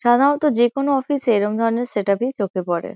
সাধারণত যে-কোনো অফিস -এ এরকম ধরণের সেট আপ -ই চোখে পরে।